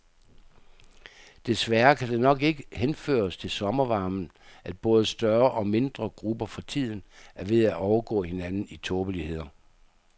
Desværre kan det nok ikke henføres til sommervarmen, at både større og mindre grupper for tiden er ved at overgå hinanden i tåbeligheder.